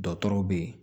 Dɔgɔtɔrɔw bɛ ye